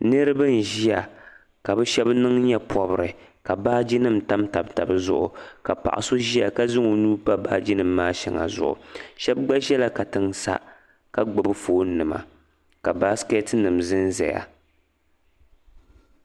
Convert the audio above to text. niriba n ʒiya ka bɛ shabi niŋ nyɛpɔbri ka baaji nim tamtam tabi zuɣu ka paɣ'so ʒiya ka zaŋ o nuu n pa baaji nim maa shɛŋa zuɣu shabi gba zala katiŋ sa ka gbubi fone nima ka basketi nim zenzeya.